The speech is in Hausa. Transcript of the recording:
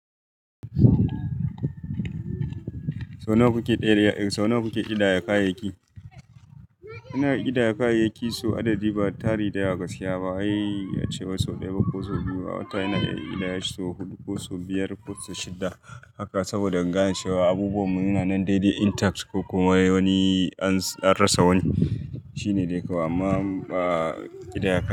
Sau nawa kuke ƙidaya kayayyaki? Ina ƙidaya kayayyaki sau adadi ba tari da yawa gaskiya ba, wai ace sau ɗaya ko sau biyu, a wata ina iya ƙidaya shi sau huɗu ko sau biyar ko sau shidda. Haka saboda in gane cewa abubuwan mu yana nan daidai intact ko kuma wani an rasa wani. Shine dai kawai amma aaa ƙidaya.